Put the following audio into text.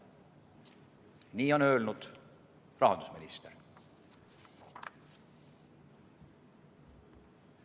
Nii on öelnud rahandusminister.